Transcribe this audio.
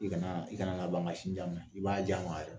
I kanaa i kana na ban ka sin di a ma. I b'a gi a ma a yɔrɔ